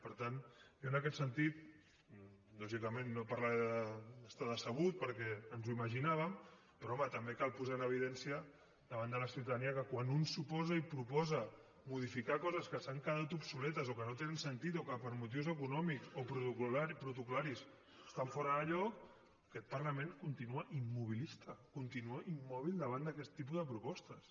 per tant jo en aquest sentit lògicament no parlaré d’estar decebut perquè ens ho imaginàvem però home també cal posar en evidència davant de la ciutadania que quan un s’oposa i proposa modificar coses que han quedat obsoletes o que no tenen sentit o que per motius econòmics o protocol·laris estan fora de lloc aquest parlament continua immobilista continua immòbil davant d’aquest tipus de propostes